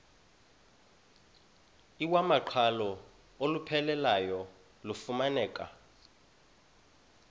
iwamaqhalo olupheleleyo lufumaneka